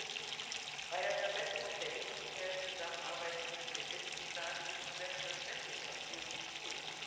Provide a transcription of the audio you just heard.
Drittens Bei der Verbesserung der justiziellen Zusammenarbeit zwischen den Mitgliedstaaten gibt es selbstverständlich noch viel zu tun.